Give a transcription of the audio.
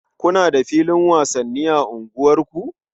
Kuna da filin wasanni a unguwarku?